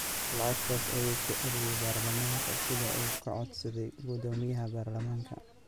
Lacagtaas ayuu ku celiyay baarlamaanka sida uu ka codsaday guddoomiyaha baarlamaanka.